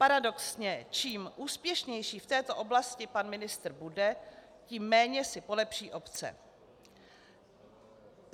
Paradoxně čím úspěšnější v této oblasti pan ministr bude, tím méně si polepší obce.